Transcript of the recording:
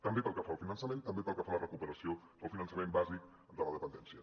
també pel que fa al finançament també pel que fa a la recuperació del finançament bàsic de la dependència